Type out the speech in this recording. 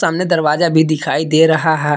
सामने दरवाजा भी दिखाई दे रहा है।